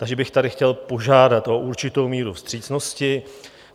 Takže bych tady chtěl požádat o určitou míru vstřícnosti.